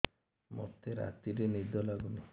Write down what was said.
ମୋତେ ରାତିରେ ନିଦ ଲାଗୁନି